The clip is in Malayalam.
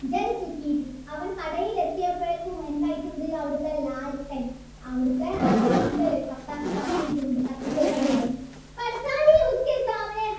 ബി അവൻ കടയിലെത്തുയപ്പോഴേക്കും എന്തായിട്ടുണ്ട് അവിടത്തെ അവിടത്തെ റാന്തൽ കത്തീട്ടുണ്ട് കത്തിച്ചുവെച്ചിട്ടുണ്ട്